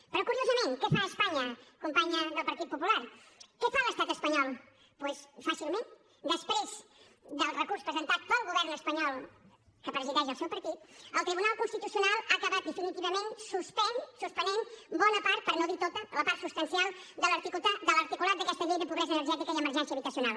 però curiosament què fa espanya companya del partit popular què fa l’estat espanyol doncs fàcilment després del recurs presentat pel govern espanyol que presideix el seu partit el tribunal constitucional ha acabat definitivament suspenent bona part per no dir tota la part substancial de l’articulat d’aquesta llei de pobresa energètica i emergència habitacional